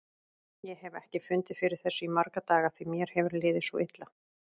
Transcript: Ég hef ekki fundið fyrir þessu í marga daga því mér hefur liðið svo illa.